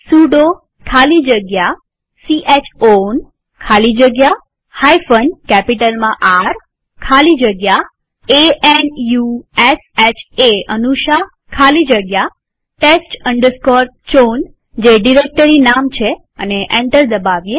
sudo ખાલી જગ્યા chown ખાલી જગ્યા કેપિટલમાંR ખાલી જગ્યા a n u s h એ ખાલી જગ્યા test chown જે ડિરેક્ટરી નામ છે અને એન્ટર દબાવીએ